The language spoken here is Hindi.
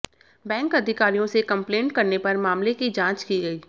बैंक अधिकारियों से कंप्लेंट करने पर मामले की जांच की गई